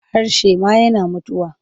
Harshe ma yana mutuwa.